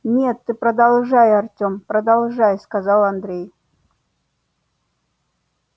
нет ты продолжай артём продолжай сказал андрей